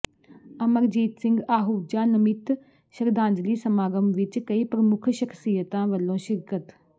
ਅਮਰਜੀਤ ਸਿੰਘ ਆਹੂਜਾ ਨਮਿੱਤ ਸ਼ਰਧਾਂਜਲੀ ਸਮਾਗਮ ਵਿੱਚ ਕਈ ਪ੍ਰਮੁੱਖ ਸਖ਼ਸ਼ੀਅਤਾਂ ਵੱਲੋਂ ਸ਼ਿਰਕਤ